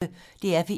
DR P1